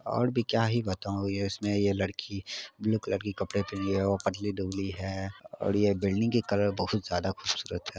और भी क्या ही बताऊ ये इसमें ये लड़की ब्लू कलर के कपड़े पहने हुए है और पतली दुबली है और ये बिल्डिंग के कलर बहुत ज्यादा खुबसूरत है।